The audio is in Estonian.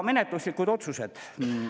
Menetluslikud otsused.